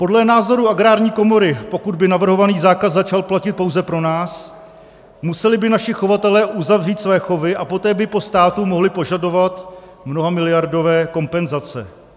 Podle názoru Agrární komory, pokud by navrhovaný zákaz začal platit pouze pro nás, museli by naši chovatelé uzavřít své chovy a poté by po státu mohli požadovat mnohamiliardové kompenzace.